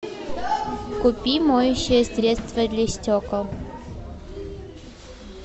купи моющее средство для стекол